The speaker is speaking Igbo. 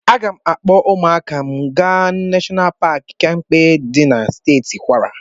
Aga m akpọ ụmụaka m aga Nashọnal Paki Kempe dị na Steeti Kwara.